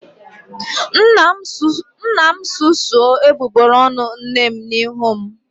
Nna m susuo egbugbere ọnụ nne m n'ihu m